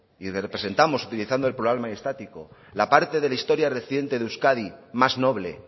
y representamos utilizando el plural mayestático la parte de la reciente historia reciente de euskadi más noble